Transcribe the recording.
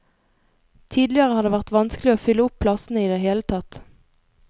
Tidligere har det vært vanskelig å fylle opp plassene i det hele tatt.